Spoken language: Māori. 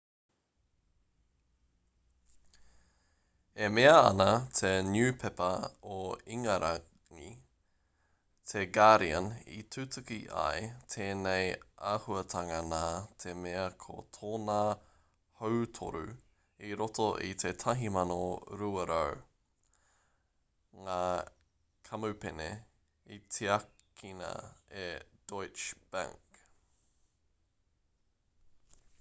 e mea ana te niupepa o ingarangi te guardian i tutuki ai tēnei āhuatanga nā te mea ko tōna hautoru i roto i te 1200 ngā kamupene i tiakina e deutsche bank